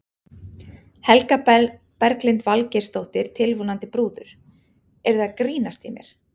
Helga Berglind Valgeirsdóttir, tilvonandi brúður: Eruð þið að grínast í mér?